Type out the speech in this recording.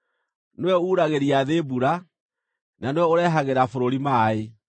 Nĩwe uuragĩria thĩ mbura; na nĩwe ũrehagĩra bũrũri maaĩ.